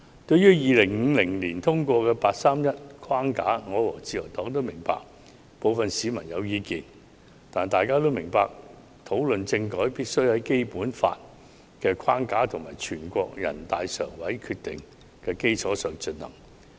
對於2015年通過的"八三一框架"，我和自由黨均明白部分市民有意見，但大家要明白，討論政改必須在《基本法》的框架和全國人民代表大會常務委員會的決定的基礎上進行。